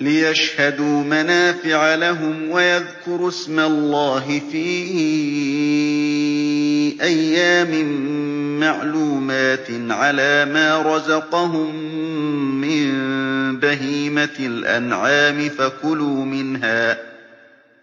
لِّيَشْهَدُوا مَنَافِعَ لَهُمْ وَيَذْكُرُوا اسْمَ اللَّهِ فِي أَيَّامٍ مَّعْلُومَاتٍ عَلَىٰ مَا رَزَقَهُم مِّن بَهِيمَةِ الْأَنْعَامِ ۖ